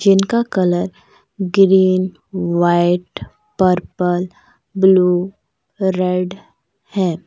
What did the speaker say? जिनका colour green white purple blue red है।